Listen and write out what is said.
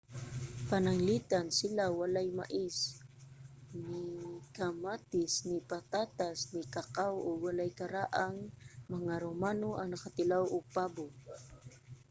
pananglitan sila walay mais ni kamatis ni patatas ni kakaw ug walay karaang mga romano ang nakatilaw og pabo